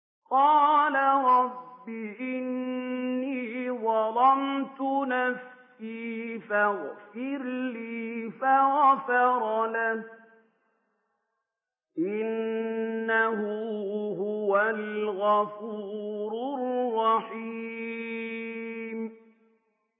قَالَ رَبِّ إِنِّي ظَلَمْتُ نَفْسِي فَاغْفِرْ لِي فَغَفَرَ لَهُ ۚ إِنَّهُ هُوَ الْغَفُورُ الرَّحِيمُ